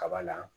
Kaba la